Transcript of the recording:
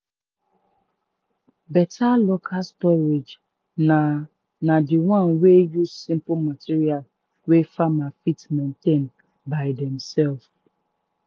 better local storage na na the one wey use simple material wey farmer fit maintain by demself.